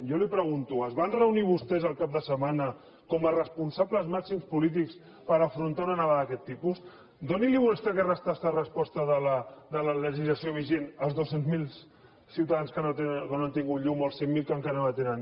jo li pregunto es van reunir vostès el cap de setmana com a responsables màxims polítics per afrontar una nevada d’aquest tipus doni’ls vostè aquesta resposta de la legislació vigent als dos cents miler ciutadans que no han tingut llum o als cinc mil que encara no en tenen